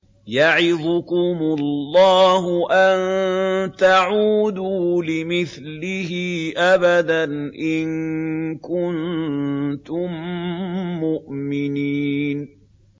يَعِظُكُمُ اللَّهُ أَن تَعُودُوا لِمِثْلِهِ أَبَدًا إِن كُنتُم مُّؤْمِنِينَ